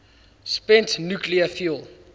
spent nuclear fuel